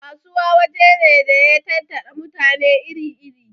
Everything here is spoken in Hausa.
Kasuwa waje ne da ya tattara mutane iri iri